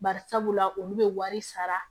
Bari sabula olu bɛ wari sara